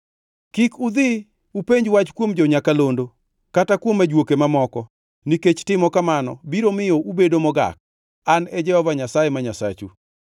“ ‘Kik udhi upenj wach kuom jo-nyakalondo kata kuom ajuoke mamoko, nikech timo kamano biro miyo ubedo mogak. An e Jehova Nyasaye ma Nyasachu.